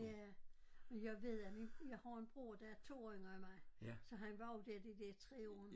Ja men jeg ved at min jeg har en bror der er 2 år yngre end mig så han var jo dér de dér 3 år